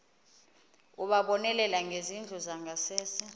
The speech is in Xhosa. ukubonelela ngezindlu zangasese